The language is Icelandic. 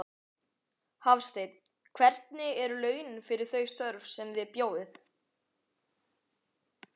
Hafsteinn: Hvernig eru launin fyrir þau störf sem þið bjóðið?